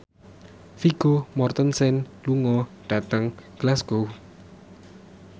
Vigo Mortensen lunga dhateng Glasgow